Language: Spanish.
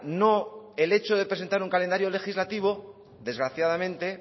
no el hecho de presentar un calendario legislativo desgraciadamente